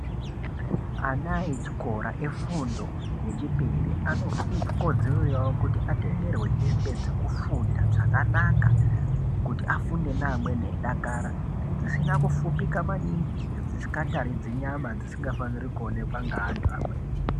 Ana echikora efundo yechipiri, anekodzero yavo kuti kuti atengerwe hembe dzekufunda dzakanaka, kuti afunde neamweni eidakara, dzisina kufupika maningi, dzisikataridzi nyama dzisingafaniri kuonekwa ngeantu amweni.